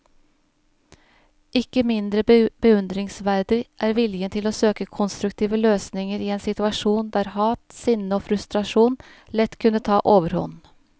Ikke mindre beundringsverdig er viljen til å søke konstruktive løsninger i en situasjon der hat, sinne og frustrasjon lett kunne ta overhånd.